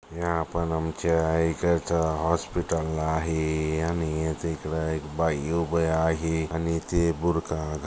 ह्या पन आमच्या इकडच हॉस्पिटल आहे आणि ते इकड एक बाई उभी आहे आणि ते बुरखा--